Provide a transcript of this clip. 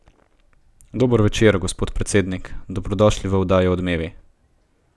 Dober večer, gospod predsednik, dobrodošli v oddaji Odmevi.